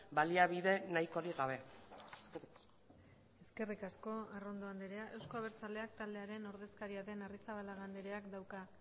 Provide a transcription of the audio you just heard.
baliabide nahikorik gabe eskerrik asko eskerrik asko arrondo andrea euzko abertzaleak taldearen ordezkaria den arrizabalaga andreak dauka